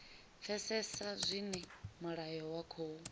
pfesesa zwine mulayo wa khou